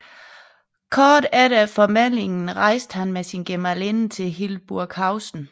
Kort efter formælingen rejste han med sin gemalinde til Hildburghausen